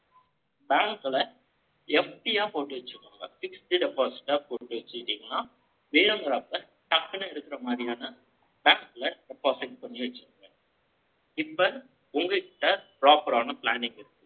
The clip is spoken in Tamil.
bank ல, FD ஆ போட்டு வச்சுக்கோங்க. fixed deposit ஆ போட்டு வச்சுக்கிட்டீங்கன்னா, தேவைப்படறப்ப டக்குன்னு எடுக்குற மாதிரியான, deposit கொஞ்சம் வச்சுக்கோங்க. இப்ப, உங்க கிட்ட proper ஆன planning இருக்கு